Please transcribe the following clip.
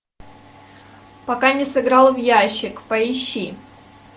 пока не сыграл в ящик поищи